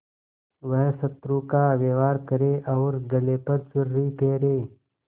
वह शत्रु का व्यवहार करे और गले पर छुरी फेरे